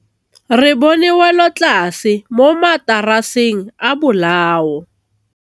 Re bone wêlôtlasê mo mataraseng a bolaô.